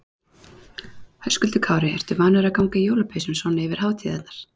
Höskuldur Kári: Ertu vanur að ganga í jólapeysum svona yfir hátíðarnar?